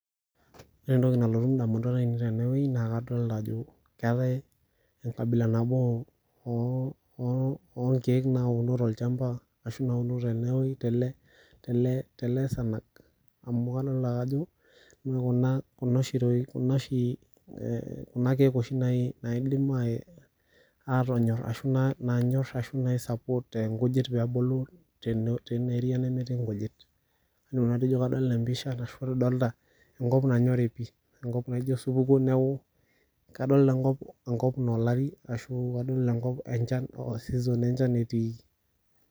Wore entoki nalotu indamunot aiinei tene wueji naa kadoolta ajo keetae enkabila nabo oonkiek nauno tolchamba, ashu nauno tenewoji tele sanag, amu kadoolta ake ajo, kuna oshi, kuna kiek oshi naidim aatonyorr ashu nai support inkujit peebulu tenia area nemetii inkujit. Kaidim nanu atejo kadoolta empisha arashu kadolita enkop nanyori pii, enkop naijo osupuko, kadoolta enkop naa olari ashu kadoolta enkop enchan a season enchan etiiki.